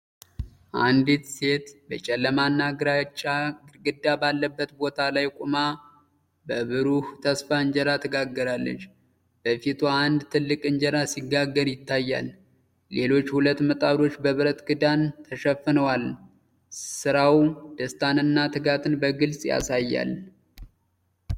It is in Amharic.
አንዲት ሴት በጨለማና ግራጫ ግድግዳ ባለበት ቦታ ላይ ቆማ፣ በብሩህ ተስፋ እንጀራ ትጋግራለች። በፊቷ አንድ ትልቅ እንጀራ ሲጋገር ይታያል፤ ሌሎች ሁለት ምጣዶች በብረት ክዳን ተሸፍነዋል። ሥራው ደስታንና ትጋትን በግልጽ ያሳያል።